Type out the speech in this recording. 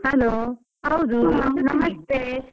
Hello ಹೌದು.